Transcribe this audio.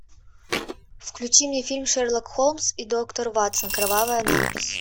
включи мне фильм шерлок холмс и доктор ватсон кровавая надпись